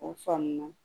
O faamu na